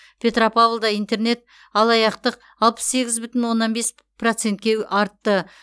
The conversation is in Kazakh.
петропавлда интернет алаяқтық алпыс сегіз бүтін оннан бес процентке артты